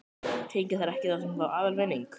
Hringja þeir ekki í þá sem fá aðalvinning?